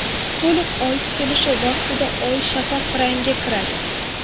To‘liq oy tutilishi vaqtida oy shafaq rangga kiradi.